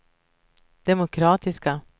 demokratiska